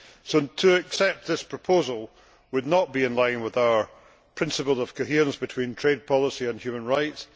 So, to accept this proposal would not be in line with our principle of coherence between trade policy and human rights.